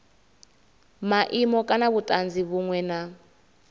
maimo kana vhutanzi vhunwe na